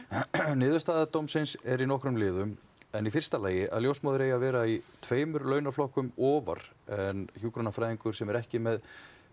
niðurstaða dómsins er í nokkrum liðum en í fyrsta lagi að ljósmóðir eiga að vera tveimur launaflokkum ofar en hjúkrunarfræðingur sem er ekki með